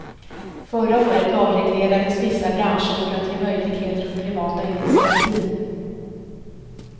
Förra året avreglerades vissa branscher för att ge möjligheter åt privata initiativ.